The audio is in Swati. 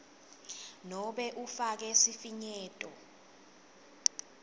nobe ufake sifinyeto